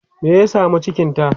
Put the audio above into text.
me ya samu cikinta?